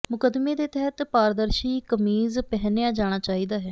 ਮੁਕੱਦਮੇ ਦੇ ਤਹਿਤ ਪਾਰਦਰਸ਼ੀ ਕਮੀਜ਼ ਪਹਿਨਿਆ ਜਾਣਾ ਚਾਹੀਦਾ ਹੈ